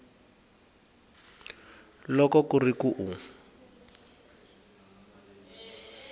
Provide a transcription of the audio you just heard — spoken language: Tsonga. loko ku ri ku u